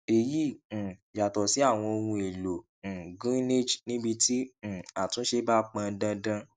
èyí um yàtọ sí àwọn ohun èlò um greenage níbí tí um àtúnṣe bá pọn dandan